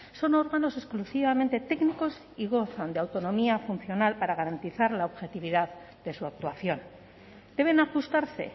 son órganos exclusivamente técnicos y gozan de autonomía funcional para garantizar la objetividad de su actuación deben ajustarse